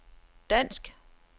dansk